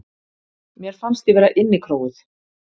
Mér fannst ég vera innikróuð.